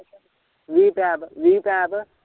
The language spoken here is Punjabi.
ਵੀਹ ਪੈਪ ਵੀਹ ਪੈਪ